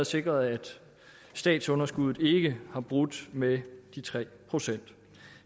sikret at statsunderskuddet ikke har brudt med de tre procent